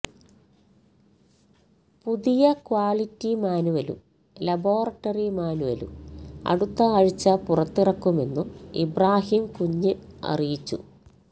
പുതിയ ക്വാളിറ്റി മാന്വലും ലബോറട്ടറി മാന്വലും അടുത്ത ആഴ്ച പുറത്തിറക്കുമെന്നും ഇബ്രാഹിം കുഞ്ഞ് അറിയിച്ചു